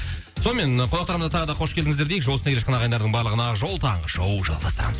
сонымен қонақтарымызға тағы да қош келдіңіздер дейік жол үстінде келе жатқан ағайындардың барлығына ақ жол таңғы шоу жалғастырамыз